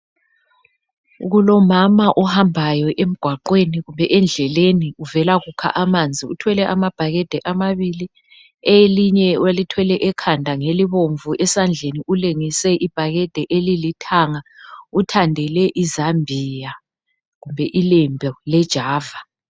Kulomama ohambayo emgwaqweni kumbe endleleni uvela kukha amanzi. Uthwele amabhakedi amabili elinye olithwele ekhanda ngelibomvu. Esandleni ulengise ibhakede elilithanga. Uthandele izambiya kumbe ilembu lejava.